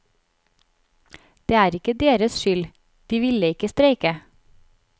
Det er ikke deres skyld, de ville ikke streike.